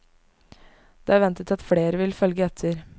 Det er ventet at flere vil følge etter.